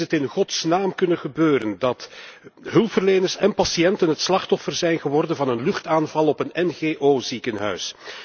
Hoe is het in godsnaam kunnen gebeuren dat hulpverleners en patiënten het slachtoffer zijn geworden van een luchtaanval op een NGO ziekenhuis?